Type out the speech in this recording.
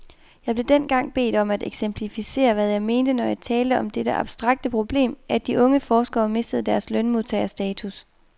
Jeg blev dengang bedt om at eksemplificere, hvad jeg mente, når jeg talte om dette abstrakte problem, at de unge forskere mistede deres lønmodtagerstatus.